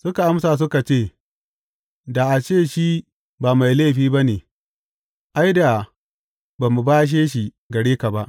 Suka amsa suka ce, Da a ce shi ba mai laifi ba ne, ai, da ba mu bashe shi gare ka ba.